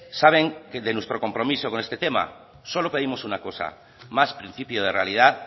saben de nuestro compromiso con este tema solo pedimos una cosa más principio de realidad